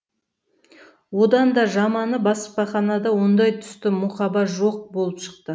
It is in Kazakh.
одан да жаманы баспаханада ондай түсті мұқаба жоқ болып шықты